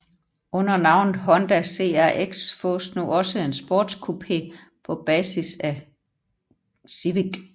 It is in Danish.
Under navnet Honda CRX fås nu også en sportscoupé på basis af Civic